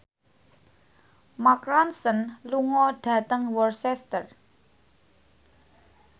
Mark Ronson lunga dhateng Worcester